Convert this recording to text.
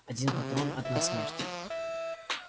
один патрон одна смерть